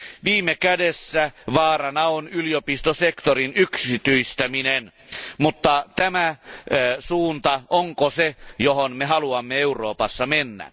Viime kädessä vaarana on yliopistosektorin yksityistäminen, mutta onko tämä se suunta, johon me haluamme Euroopassa mennä?